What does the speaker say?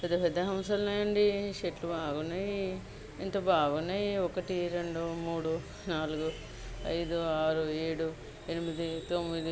పెద్ద పెద్ద హంస ఉన్నాయండి. చెట్లు బాగున్నాయి. ఎంత బాగున్నాయి ఒకటి రెండు మూడు నాలుగు ఐదు ఆరు ఏడూ ఎనిమిది తొమ్మిది.